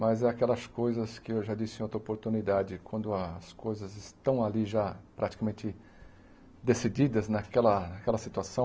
Mas é aquelas coisas que eu já disse em outra oportunidade, quando as coisas estão ali já praticamente decididas naquela naquela situação,